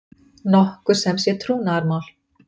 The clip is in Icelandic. nokkuð sem sé trúnaðarmál.